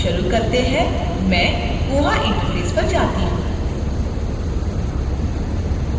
चलो शुरू करते हैं मैं koha interface पर जाती हूँ